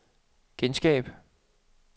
genskab